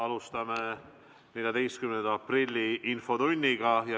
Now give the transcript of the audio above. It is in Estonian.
Alustame 14. aprilli infotundi.